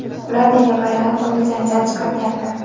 Ular nega bayram kuni janjal chiqargandi?.